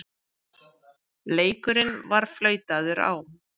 Leikurinn var flautaður á.